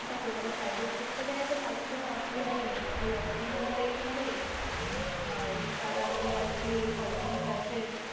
দেখো যারা private sector এ আছে তাদের কোনো অসুবিধেই নেই তাদের work from home পেয়ে যাবে আর যারা মানে আরকি ওই সরকারি তে আছে,